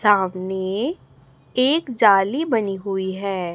सामने एक जाली बनी हुई है।